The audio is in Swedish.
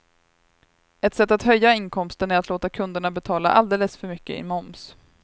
Ett sätt att höja inkomsten är att låta kunderna betala alldeles för mycket i moms.